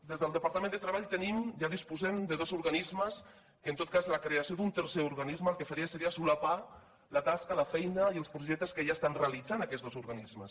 des del departament de treball tenim ja disposem de dos organismes que en tot cas la creació d’un tercer organisme el que faria seria solapar la tasca la feina i els projectes que ja estan realitzant aquests dos organismes